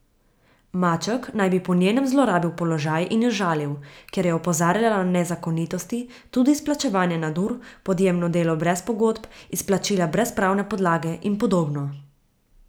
Maček naj bi po njenem zlorabil položaj in jo žalil, ker je opozarjala na nezakonitosti, tudi izplačevanje nadur, podjemno delo brez pogodb, izplačila brez pravne podlage in podobno.